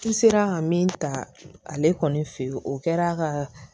I sera ka min ta ale kɔni fe ye o kɛra ka